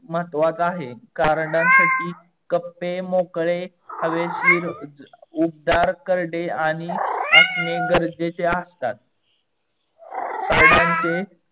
महत्वाचा आहे. कार्डनसाठी कप्पे मोकडे हवेशीर उबदार करडे आणि असणे गरजेचे असतात. कार्डानचे